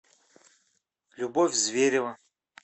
любовь зверева